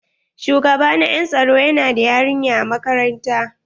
Shugaba na en tsaro yana da yarinya a makarantar.